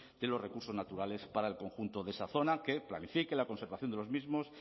de los recursos naturales para el conjunto de esa zona que planifique la conservación de los mismos